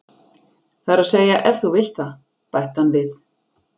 Það er að segja ef þú vilt það, bætti hann við.